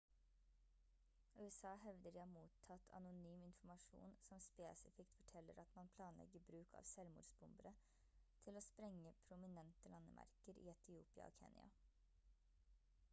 usa hevder de har mottatt anonym informasjon som spesifikt forteller at man planlegger bruk av selvmordsbombere til å sprenge «prominente landemerker» i etiopia og kenya